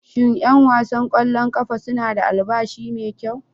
Shin 'yan wasan kwallon kafa suna da albashi mai kyau?